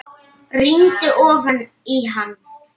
Rýndi ofan í hann.